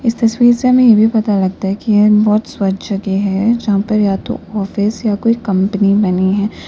इस तस्वीर से हमें यह पता लगता है कि ये बहुत स्वच्छ जगह है यहां पर या तो ऑफिस या कोई कंपनी बनी है।